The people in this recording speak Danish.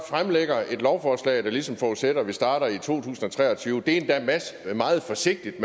fremsætter et lovforslag der ligesom forudsætter at vi starter i to tusind og tre og tyve det er endda meget forsigtigt